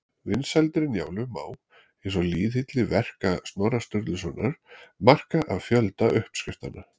Vinsældir Njálu má, eins og lýðhylli verka Snorra Sturlusonar, marka af fjölda uppskriftanna.